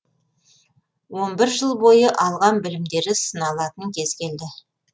он бір жыл бойы алған білімдері сыналатын кез келді